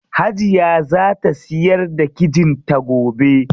Hajiya zaa ta siyar da kijin ta gobe.